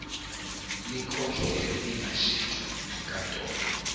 likhokhelwe lingashintshwa yinkantolo